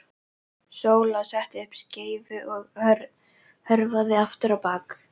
Sóla setti upp skeifu og hörfaði aftur á bak.